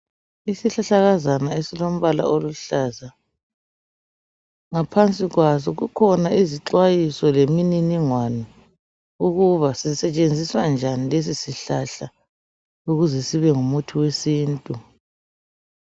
Isihlahlakazana esilombala oluhlaza ngaphansi kwaso kukhona izixwayiso lemininingwano ukuba sisetshenziswa njani lesi sihlahla ukuze sibe ngumuthi wesintu.